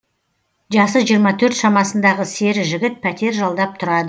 жасы жиырма төрт шамасындағы сері жігіт пәтер жалдап тұрады